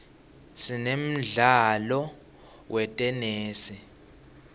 sinemdlalo wetenesi